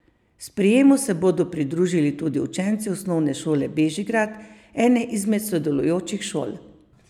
Sprejemu se bodo pridružili tudi učenci Osnovne šole Bežigrad, ene izmed sodelujočih šol.